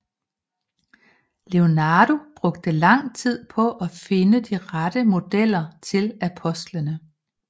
Leonardo brugte lang tid på at finde de rette modeller til apostlene